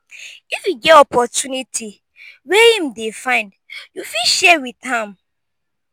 if yu get opportunity wey em dey find yu fit share wit am